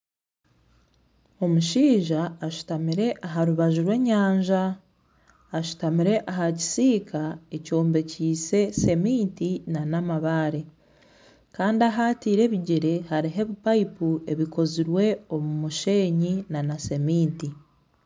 Omushaija ashutamire aha rubaju rw'enyanja, ashutamire aha kisiika ekyombekyeise seminti n'amabaare. Kandi ahu ataire ebigyere hariho ebipayipu ebikozirwe omu musheenyi na seminti.